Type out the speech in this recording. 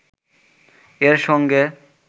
এর সঙ্গে